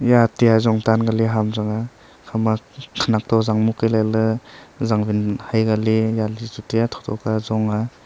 ya ate jong tan kali ham chang aa hama khanak to zang mut ka lai ley zangwin haikia li yali chu taiya thotho ka zong aa.